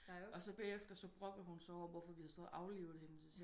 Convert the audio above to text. Og bagefter så brokkede hun sig over hvorfor vi så havde aflivet hende